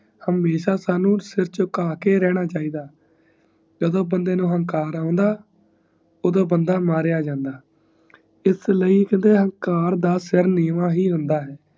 ਹਮੇਸ਼ਾ ਸਾਨੂ ਸਿਰ ਚੁਕਾ ਕੇ ਰਹਿਣਾ ਚਾਹੀਂਦਾ ਜਦੋ ਬੰਦੇ ਨੂੰ ਅਹੰਕਾਰ ਆਉਂਦਾ ਓਦੋ ਬੰਦਾ ਮਾਰਿਆ ਜਾਂਦਾ ਇਸਲੀਏ ਅਹੰਕਾਰ ਦਾ ਸਿਰ ਨੀਵਾਂ ਹੀ ਹੁੰਦਾ ਹੈ